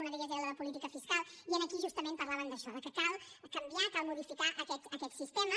una d’elles era la de política fiscal i aquí justament parlaven d’això que cal canviar cal modificar aquest sistema